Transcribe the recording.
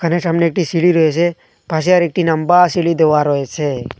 দোকানের সামনে একটি সিঁড়ি রয়েছে পাশে আর একটি নম্বা সিঁড়ি দেওয়া রয়েসে।